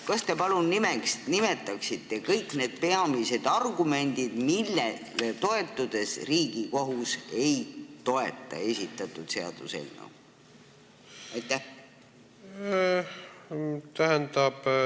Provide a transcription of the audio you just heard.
Kas te palun nimetaksite kõik need peamised argumendid, millele toetudes Riigikohus seda ei toeta?